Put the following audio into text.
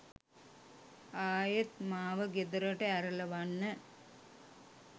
ආයෙත් මාව ගෙදරට ඇරලවන්න